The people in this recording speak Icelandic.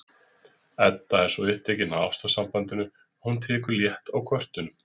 Edda er svo upptekin af ástarsambandinu að hún tekur létt á kvörtunum